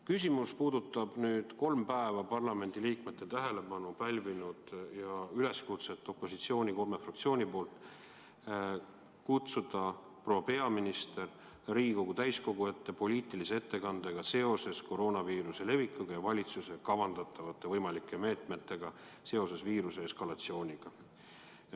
Küsimus puudutab kolm päeva parlamendiliikmete tähelepanu pälvinud üleskutset opositsiooni kolme fraktsiooni poolt kutsuda proua peaminister Riigikogu täiskogu ette poliitilise ettekandega seoses koroonaviiruse levikuga ja valitsuse kavandatavate võimalike meetmetega seoses viiruse eskalatsiooniga.